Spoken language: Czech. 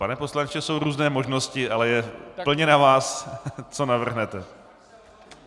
Pane poslanče, jsou různé možnosti, ale je plně na vás, co navrhnete.